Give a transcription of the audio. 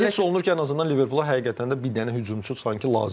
Yəni hiss olunur ki, ən azından Liverpola həqiqətən də bir dənə hücumçu lazımdır.